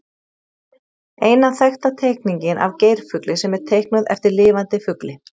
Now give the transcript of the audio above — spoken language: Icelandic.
Eina þekkta teikningin af geirfugli sem er teiknuð eftir lifandi fugli.